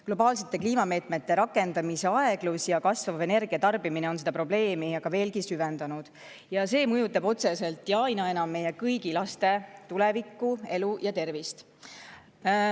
Globaalsete kliimameetmete rakendamise aeglus ja kasvav energia tarbimine on seda probleemi veelgi süvendanud ja see mõjutab otseselt ja aina enam meie kõigi laste tulevikku, elu ja tervist.